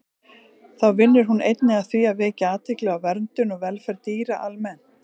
Þá vinnur hún einnig að því að vekja athygli á verndun og velferð dýra almennt.